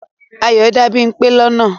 Ayọ dá Bímpé lọ́nà.